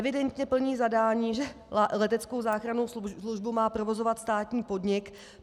Evidentně plní zadání, že leteckou záchrannou službu má provozovat státní podnik.